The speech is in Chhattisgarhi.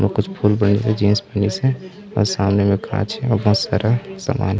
और कुछ फुल पेंट के जीन्स पहनिस हे आऊ सामने म कांच हे आऊ बहुत सारा सामान--